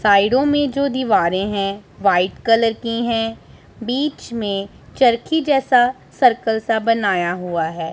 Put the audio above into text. साइडो में जो दीवारें है व्हाइट कलर की हैं बीच में चरखी जैसा सर्कल सा बनाया हुआ है।